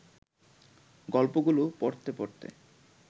গল্পগুলো পড়তে পড়তে